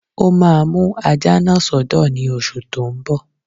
Ó máa mú ajá náà sọ́dọ̀ ní oṣù tó n bọ̀